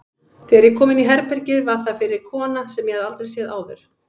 Þegar ég kom inní herbergið var þar fyrir kona sem ég hafði aldrei séð áður.